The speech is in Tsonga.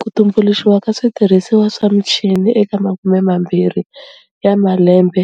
Ku tumbuluxiwa ka switirhisiwa swa michini eka makume mambirhi ya malembe